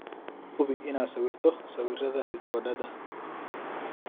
Hubi inaad sawirto sawirada rikoodhada.